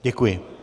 Děkuji.